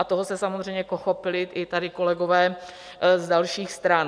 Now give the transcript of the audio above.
A toho se samozřejmě chopili i tady kolegové z dalších stran.